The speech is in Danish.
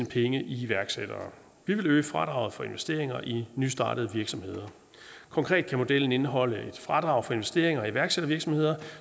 penge i iværksættere vi vil øge fradraget for investeringer i nystartede virksomheder konkret kan modellen indeholde et fradrag for investeringer i iværksættervirksomheder